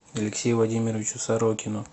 алексею владимировичу сорокину